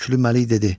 Şöklü Məlik dedi: